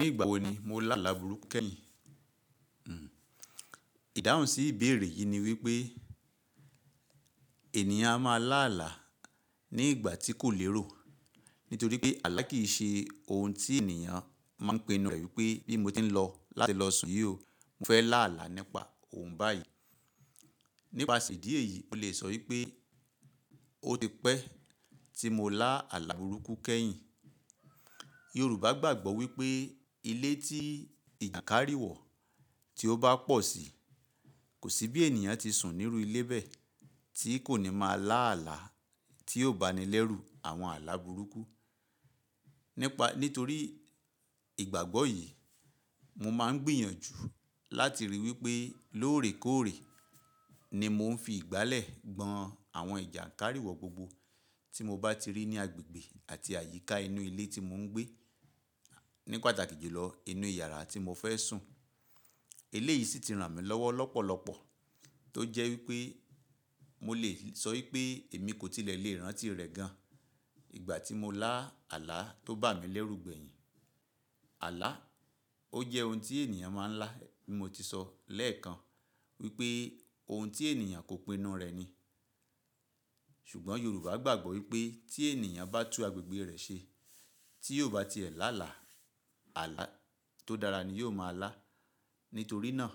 Ní ìgbà wo ni mo lá àlà burúkú kẹ́yìn? Hmm. Ìdáhùn sí ìbéèrè yìí ni wípé ènìyàn a máa lá àlà ní ìgbà tí kò lérò nítorí pé àlà kì í ṣe ohun tí ènìyàn máa pinu e wípé bí mo tí ń lọ láti lọ sùn yìí o, mo fẹ́ lá àlà nípa ohun báyìí. Nípa ìdí èyí, mo lè sọ wípé ó ti pẹ́ tí mo lá àlà burúkú kẹ́yìn. Yorùbá gbàgbọ́ wípé ilé tí ìjàǹkárí wọ̀ tí ó bá pọ̀ sí i, kò sí bí ènìyàn tí sùn nírú ilé bẹ́ẹ̀ tí kò ní máa lá àlà tí yóò bá ni lẹ́rù àwọn àlà burúkú. Nípa nítorí ìgbàgbọ́ yìí, mo máa ń gbìyànjú láti ríi wípé lóòrèkóòrè ni mò ń fi ìgbálẹ̀ gbọn àwọn ìjàǹkárí wọ̀ gbogbo tí mo bá ti rí ní agbègbè àti àyíká inú ilé tí mò ń gbé, ní pàtàkì jùlọ inú yàrá tí mo fẹ́ sùn. Eleyii sì ti ràn mí lọ́wọ́ lọ́pọ̀lọpọ̀ tó jẹ́ wípé mo lè sọ wípé èmi kò tilẹ̀ lè rántí rẹ̀ gan ìgbà tí mo lá àlà tó bà mí lẹ́rù gbẹ̀yìn. Àlà, ó jẹ́ ohun tí ènìyàn máa ń lá bí mo ti sọ lẹ́ẹ̀kan wípé ohun tí ènìyàn kò pinu rẹ̀ ni. Ṣùgbọ́n Yorùbá gbàgbọ́ wípé tí ènìyàn bá tún agbègbè rẹ̀ ṣe tí yóò bá ti ẹ̀ lá àlà, àlà tó dára ni yóò máa lá. Nítorí náà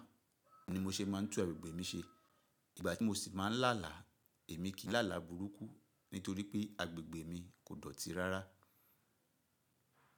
ni mo ṣe máa ń tú agbègbè mi ṣe. Ìgbà tí mo sì máa ń là àlà, èmi kì í là àlà burúkú nítorí pé agbègbè mi kò dọ̀tí rárá.